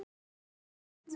Allt er nýtt.